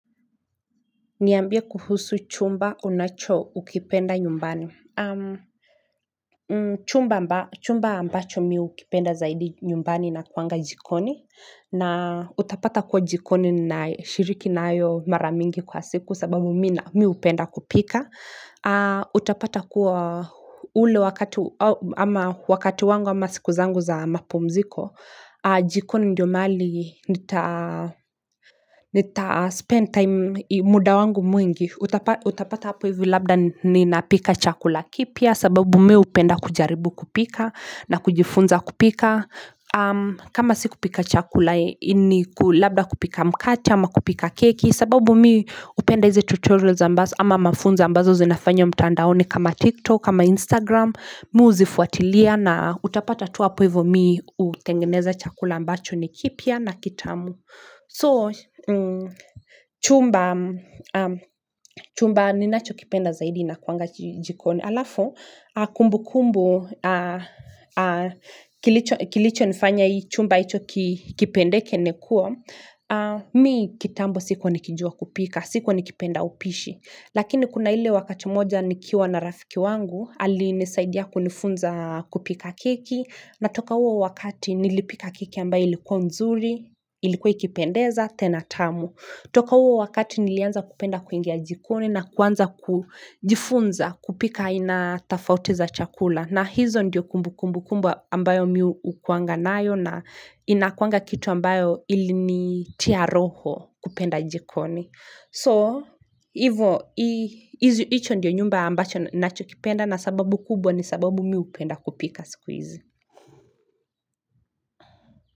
Niambia kuhusu chumba unacho kipenda nyumbani Chumba ambacho mimi hukipenda zaidi nyumbani inakuanga jikoni na utapata kuwa jikoni ninashiriki nayo maramingi kwa siku sababu mimi hupenda kupika Utapata kuwa ule wakati wangu ama sikuzangu za mapumziko jikoni ndio mahali nita spend time muda wangu mwingi Utapata hapo hivyo labda ni napika chakula kipya sababu mimi hupenda kujaribu kupika na kujifunza kupika kama si kupika chakula ni labda kupika mkate ama kupika keki sababu mimi hupenda hizi tutorials ama mafunzo ambazo zinafanywa mtandaoni kama tiktok kama instagram, mimi huzifuatilia na utapata tu hapo hivyo mimi hutengeneza chakula ambacho ni kipya na kitamu So, chumba, chumba ninacho kipenda zaidi inakuwanga jikoni. Alafu, kumbu kumbu kilicho nifanya hii chumba hicho kipendeke nikuwa, mimi kitambo sikua nikijua kupika, sikua nikipenda upishi. Lakini kuna ile wakati moja nikiwa na rafiki wangu ali nisaidia kunifunza kupika keki na toka huo wakati nilipika keki ambayo ilikuwa nzuri, ilikuwa ikipendeza, tena tamu. Toka huo wakati nilianza kupenda kuingia jikoni na kuanza kujifunza kupika ainatofauti za chakula na hizo ndio kumbu kumbu kubwa ambayo mimi hukuanga nayo na inakuanga kitu ambayo ili nitia roho kupenda jikoni. So, hivyo, hicho ndiyo nyumba ambacho nacho kipenda na sababu kubwa ni sababu mimi hupenda kupika sikuhizi.